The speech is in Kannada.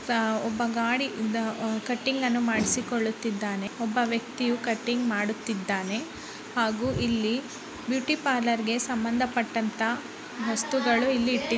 ಒಬ್ಬ ಗಾಡಿ ಕಟಿಂಗ್ ಅನ್ನು ಮಾಡಿಸಿಕೊಳ್ಳುತ್ತಿದ್ದಾನೆ. ಒಬ್ಬ ವ್ಯಕ್ತಿಯು ಕಟಿಂಗ್ ಮಾಡುತ್ತಿದ್ದಾನೆ. ಹಾಗು ಇಲ್ಲಿ ಬ್ಯೂಟಿ ಪಾರ್ಲರ್ ಗೆ ಸಂಬಂಧಪಟ್ಟಅಂತ ವಸ್ತುಗಳು ಇಲ್ಲಿ ಇಟ್ಟಿ --